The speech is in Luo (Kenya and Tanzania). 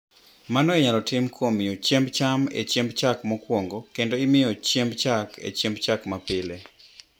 Mano inyalo tim kuom miyo chiemb cham e chiemb chak mokwongo kendo miyo chiemb chak e chiemb chak mapile.